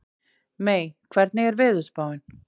Mey, hvernig er veðurspáin?